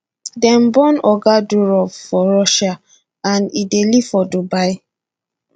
dem born oga durov for russia and e dey live for dubai